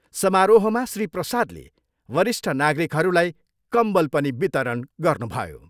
समारोहमा श्री प्रसादले वरिष्ठ नागरिकहरूलाई कम्बल पनि वितरण गर्नुभयो।